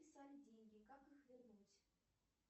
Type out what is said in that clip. списали деньги как их вернуть